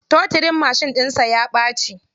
Totirin mashin ɗinsa ya ɓaci.